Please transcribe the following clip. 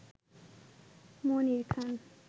Monir Khan